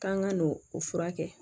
K'an ka n'o o furakɛ